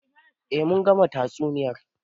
Eh mun gama tatsuniyar.